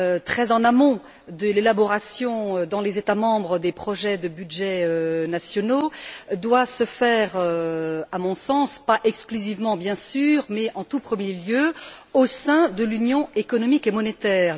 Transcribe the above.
très en amont de l'élaboration, dans les États membres, des projets de budgets nationaux, doit donc se faire, à mon sens pas exclusivement bien sûr, mais en tout premier lieu au sein de l'Union économique et monétaire.